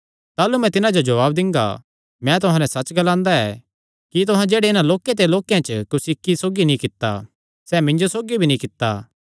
ताह़लू मैं तिन्हां जो जवाब दिंगा मैं तुहां नैं सच्च ग्लांदा ऐ कि तुहां जेह्ड़े इन्हां लोक्के ते लोक्केयां च कुसी इक्की सौगी नीं कित्ता सैह़ मिन्जो सौगी भी नीं कित्ता